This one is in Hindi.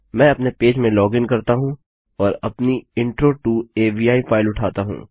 मैं अपने पेज में लॉगिन करता हूँ और अपनी इंट्रो टो अवि फाइल उठाता हूँ